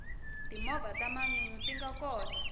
timovha ta manyunyu tinga kona